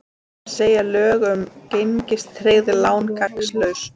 Segja lög um gengistryggð lán gagnslaus